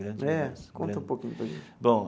É conta um pouquinho para gente. Bom.